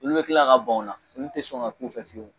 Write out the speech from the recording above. Olu be kila ka ban ola olu te sɔn ka k'u fɛ fiyewu